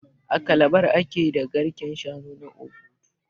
A Calabar ake da garken shanu na Obudu